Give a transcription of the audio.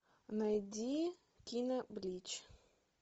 найди кино блич